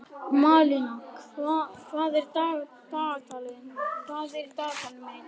Malína, hvað er á dagatalinu mínu í dag?